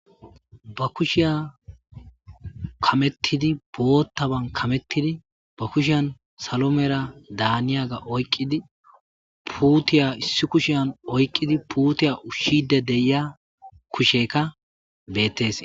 Bakushshiya kameththidi boththaban kameththidi bakushiyan salo medha daniyagga oyikidi put putiya issi kushshiyan oyikidi puttiya ushshidi de'ya kushshekka bettes.